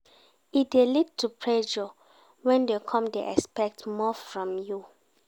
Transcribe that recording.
E dey lead to pressure when dem come dey expect more from you